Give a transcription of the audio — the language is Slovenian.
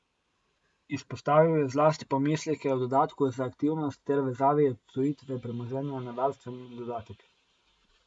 Izpostavil je zlasti pomisleke o dodatku za aktivnost ter vezavi odtujitve premoženja na varstveni dodatek.